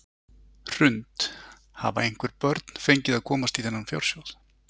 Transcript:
Hrund: Hafa einhver börn fengið að komast í þennan fjársjóð?